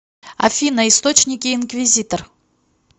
афина источники инквизитор